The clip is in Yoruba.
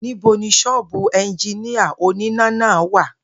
Níbo ni s̩ó̩ò̩bù e̩njiníà oníná náà wà?